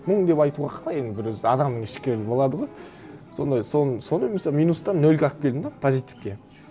мұн деп айтуға қалай енді бір өзі адамның ішкі болады ғой сондай сонымен мысалы минустан нөлге алып келдім де позитивке